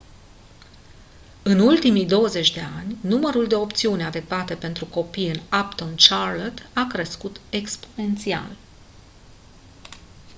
în ultimii 20 de ani numărul de opțiuni adecvate pentru copii în uptown charlotte a crescut exponențial